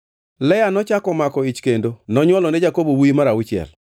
Lea nochako omako ich kendo nonywolone Jakobo wuowi mar auchiel.